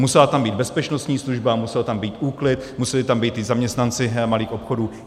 Musela tam být bezpečnostní služba, musel tam být úklid, museli tam být i zaměstnanci malých obchodů.